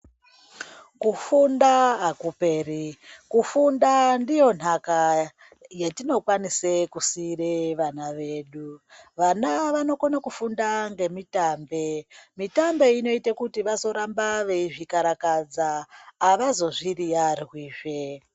Kufunda hakuperi. Kufunda ndiyo nhaka yetinokwanise kusiire vana vedu. Vana vanokone kufunda ngemitambe. Mitambe inoite kuti vazoramba veizvikarakadza. Havazo zviriarwizve.